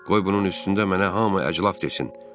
Qoy bunun üstündə mənə hamı əclaf desin.